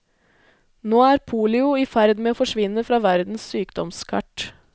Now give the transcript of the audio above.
Nå er polio i ferd med å forsvinne fra verdens sykdomskart.